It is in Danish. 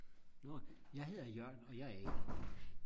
nå jeg hedder Jørn og jeg er a